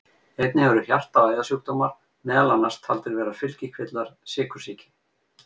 einnig eru hjarta og æðasjúkdómar meðal annars taldir vera fylgikvillar sykursýki